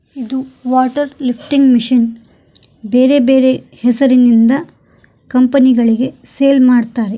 ಇದು water lifting machine ಬೇರೆ ಬೇರೆ ಹೆಸರಿನಿಂದ ಕಂಪನಿ ಗಳಿಗೆ ಸೇಲ್ ಮಾಡುತ್ತಾರೆ.